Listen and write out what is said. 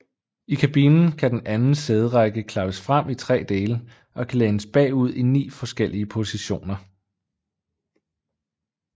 I kabinen kan den anden sæderække klappes frem i tre dele og kan lænes bagud i ni forskellige positioner